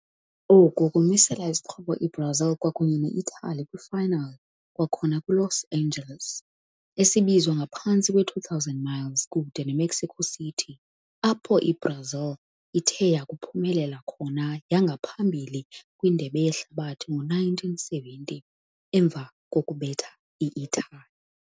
Oku ukumisela isixhobo i-Brazil kwakunye ne-Italy kwi final kwakhona kwi-Los Angeles, esibizwa ngaphantsi 2,000 miles kude Emexico City, apho i-Brazil kokuba uphumelele yabo yangaphambili Indebe Yehlabathi ngowe-1970, ironically emva beating Italy.